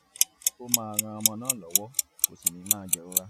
ó máa ran ọmọ náà lọ́wọ́ kò sì ní máa jẹ̀rora